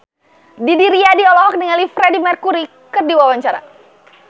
Didi Riyadi olohok ningali Freedie Mercury keur diwawancara